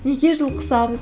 неге жұлқысамыз